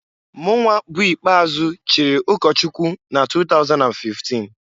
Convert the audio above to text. Mụnwa bụ ikpeazụ chiri ụkọchụkwụ na 2015.